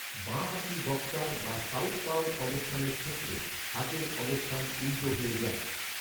বাঁ হাতি বক্সার বা সাউথপাউ অবস্থানের ক্ষেত্রে হাতের অবস্থান উল্টো হয়ে যায়।